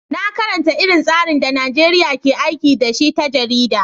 Na karanta irin tsarin da Najeriya ke aiki da shi ta jarida.